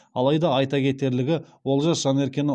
алайда айта кетерлігі олжас жанеркені